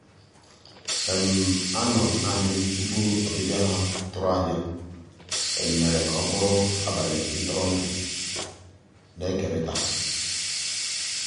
ànọ́ m naanì m tupu ọ́bị̀bị̀a ha tụ̀rù ànyá mèrè kà ọ́ bụ́rụ́ àbálị́ ntụ̀rụ̀ndụ́ na-èkérị̀ta.